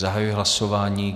Zahajuji hlasování.